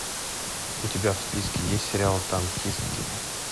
у тебя в списке есть сериал танкистки